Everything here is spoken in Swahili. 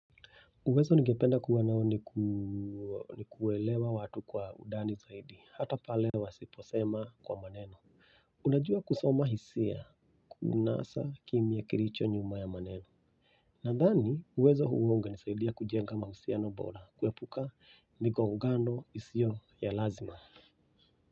Uwezo ningependa kuwa nao ni kuelewa watu kwa ndani zaidi, hata pale wasiposema kwa maneno. Unajua kusoma hisia kuunasa kimya kilicho nyuma ya maneno. Nadhani, uwezo huu ungenisaidia kujenga mahusiano bora, kuepuka migongano isio ya lazima.